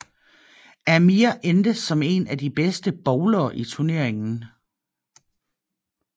Amir endte som en af de bedste bowlere i turneringen